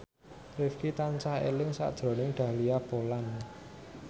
Rifqi tansah eling sakjroning Dahlia Poland